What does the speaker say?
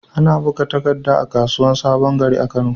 Ana buga takadda a kasuwar sabon gari, kano